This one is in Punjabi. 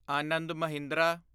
ਆਨੰਦ ਮਹਿੰਦਰਾ